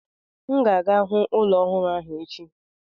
M ga-aga hụ ụlọ ọhụrụ ahụ echi.